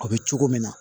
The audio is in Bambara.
A bɛ cogo min na